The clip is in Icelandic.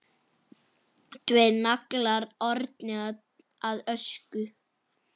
Tveir naglar orðnir að ösku.